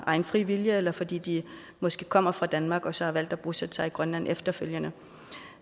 egen fri vilje eller fordi de måske kommer fra danmark og så har valgt at bosætte sig i grønland efterfølgende